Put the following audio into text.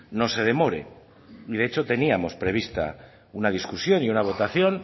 no se demore y de hecho teníamos prevista una discusión y una votación